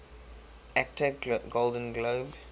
actor golden globe